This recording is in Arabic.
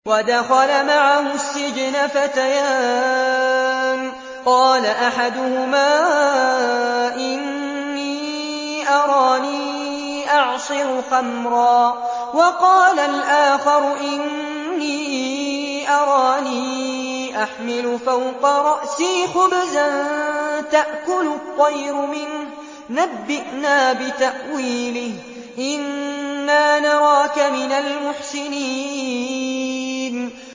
وَدَخَلَ مَعَهُ السِّجْنَ فَتَيَانِ ۖ قَالَ أَحَدُهُمَا إِنِّي أَرَانِي أَعْصِرُ خَمْرًا ۖ وَقَالَ الْآخَرُ إِنِّي أَرَانِي أَحْمِلُ فَوْقَ رَأْسِي خُبْزًا تَأْكُلُ الطَّيْرُ مِنْهُ ۖ نَبِّئْنَا بِتَأْوِيلِهِ ۖ إِنَّا نَرَاكَ مِنَ الْمُحْسِنِينَ